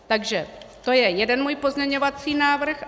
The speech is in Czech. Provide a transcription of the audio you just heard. Takže to je jeden můj pozměňovací návrh.